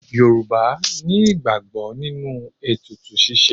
Yorùbá ní ìgbàgbọ́ nínú ètùtù ṣíṣe.